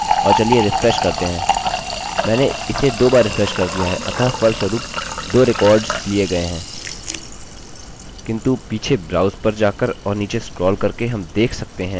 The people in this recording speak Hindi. किन्तु पीछे ब्राउज़ पर जाकर और नीचे स्क्रोल करके हम देख सकते हैं चलिए इनमें से 1 को डिलीट कर देते हैं हम देख सकते हैं कि जो डेटा मैंने अभी विनिर्दिष्ट किया वह डेटाबेस में रख दिया गया है